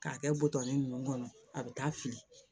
K'a kɛ butɔn nunnu kɔnɔ a bɛ taa fili